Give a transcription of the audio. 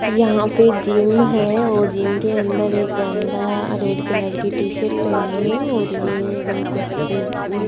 यहां पे जिम है और जिम के अंदर एक बंदा रेड कलर की टी शर्ट पहनी है और ये कुछ --